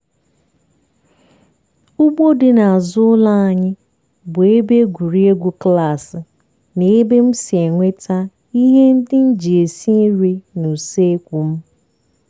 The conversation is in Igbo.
ugbo dị n'azụ ụlọ anyị bụ ebe egwuregwu klaasị na ebe m si enweta ihe ndị m ji esi nri n'useekwu m.